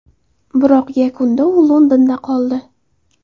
Biroq yakunda u Londonda qoldi.